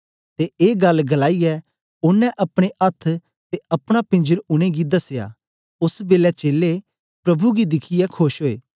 ते ए गल्ल गलाईयै ओनें अपने अथ्थ ते अपना पींजर उनेंगी दसया ओस बेलै चेलें प्रभु गी दिखियै खोश ओए